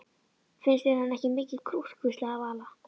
Finnst þér hann ekki mikið krútt? hvíslaði Vala.